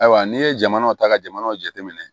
Ayiwa n'i ye jamana ta ka jamanaw jateminɛ